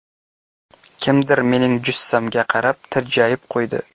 Kimdir mening jussamga qarab tirjayib qo‘ydi.